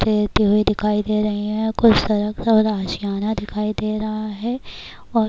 تیرتے ہوئے دکھائی دے رہے ہیں کچھ سڑک اور اشیانہ دکھائی دے رہا ہے -اور